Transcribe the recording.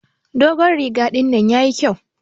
Dogon riga dinnan yayi kƴau